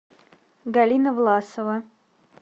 галина власова